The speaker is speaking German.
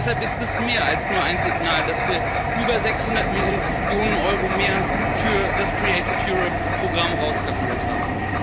Und deshalb ist es mehr als nur ein Signal, dass wir über 600 Millionen Euro mehr für das Programm Kreatives Europa ausgehandelt haben.